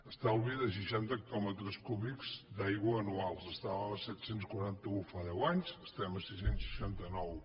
estalvi de seixanta hectòmetres cúbics d’aigua anuals estàvem a set cents i quaranta un fa deu anys estem a sis cents i seixanta nou